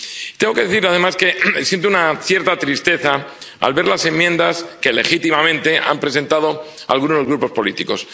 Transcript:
Tengo que decir, además, que siento una cierta tristeza al ver las enmiendas que legítimamente han presentado algunos grupos políticos.